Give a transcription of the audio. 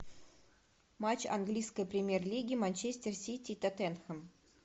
матч английской премьер лиги манчестер сити тоттенхэм